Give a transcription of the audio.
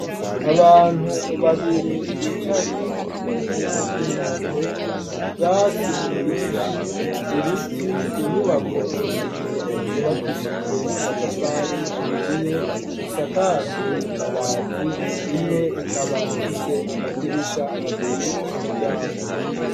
Abantu babiri bicaye mwivu ryi nombe ,ubwatsi bwinshi ,ibiti, inyubako zibiri zubakishijwe amatafari ahiye zisakajwe amabati, imwe ikaba ifise amadirisha abiri n'umuryango.